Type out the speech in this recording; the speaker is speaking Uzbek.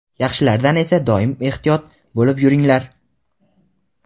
Yaxshilaridan esa doim ehtiyot bo‘lib yuringlar.